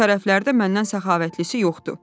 Bu tərəflərdə məndən səxavətlisi yoxdu.